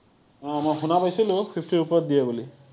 অ, মই শুনা পাইছিলো fifty ৰ ওপৰত দিয়ে বুলি।